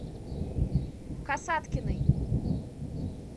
касаткиной